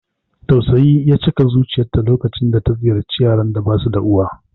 Tausayi ya cika zuciyarta lokacin da ta ziyarci yaran da basu da uwa.